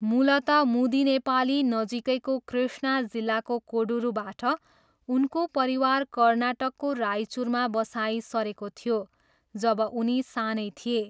मूलतः मुदिनेपाली नजिकैको कृष्णा जिल्लाको कोडुरूबाट, उनको परिवार कर्नाटकको रायचुरमा बसाइँ सरेको थियो जब उनी सानै थिए।